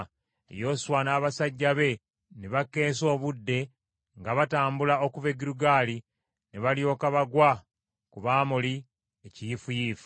Yoswa n’abasajja be ne bakeesa obudde nga batambula okuva e Girugaali ne balyoka bagwa ku b’Amoli ekiyiifuyiifu.